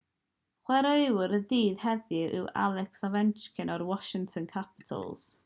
chwaraewr y dydd heddiw yw alex ovechkin o'r washington capitals